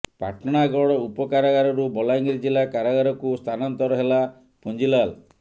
ପାଟଣାଗଡ ଉପକାରଗାରରୁ ବଲାଙ୍ଗିର ଜିଲ୍ଲା କାରାଗାରକୁ ସ୍ଥାନାନ୍ତର ହେଲା ପୁଞ୍ଜିଲାଲ୍